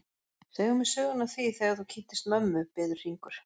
Segðu mér söguna af því þegar þú kynntist mömmu, biður Hringur.